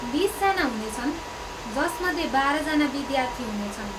बिसजना हुनेछन्, जसमध्ये बाह्रजना विद्यार्थी हुनेछन्।